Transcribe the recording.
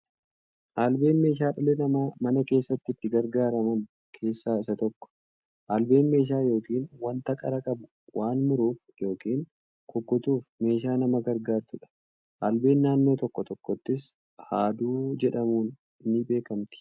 Albeen meeshaa dhalli namaa mana keessatti itti gargaaraman keessaa isa tokko. Albeen meeshaa yookiin wanta qara qabu waa muruuf yookiin kukkutuuf meeshaa nama gargaartudha. Albeen naannoo tokko tokkottis haaduu jedhaamuun ni beekamti.